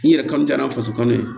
N yɛrɛ kanu ja n'a faso kɔnɔ ye